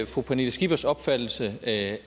fru pernille skippers opfattelse at